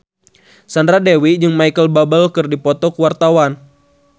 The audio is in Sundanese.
Sandra Dewi jeung Micheal Bubble keur dipoto ku wartawan